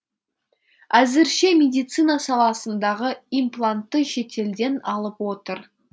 әзірше медицина саласындағы имплантты шетелден алып отыр